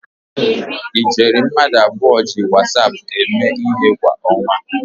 Ijeri mmadụ abụọ ji Wasap eme ihe kwa ọnwa